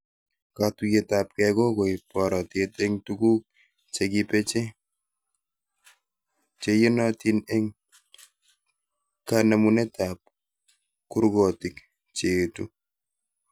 Katuyetabke kokoib boratet eng tukuk chekibeche cheiyonotin eng kanemunetab kurkotik cheetu